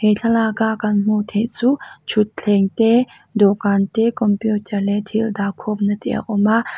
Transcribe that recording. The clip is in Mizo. he thlalaka kan hmuh theih chu thutthleng te dawhkan te computer leh thil dahkhawmna te a awm a.